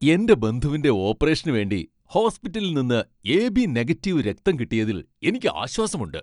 എന്റെ ബന്ധുവിന്റെ ഓപ്പറേഷനുവേണ്ടി ഹോസ്പിറ്റലിൽ നിന്ന് എ.ബി. നെഗറ്റീവ് രക്തം കിട്ടിയതിൽ എനിക്ക് ആശ്വാസമുണ്ട്.